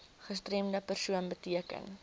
gestremde persoon beteken